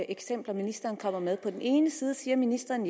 eksempler ministeren kommer med på den ene side siger ministeren